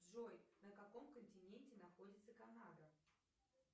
джой на каком континенте находится канада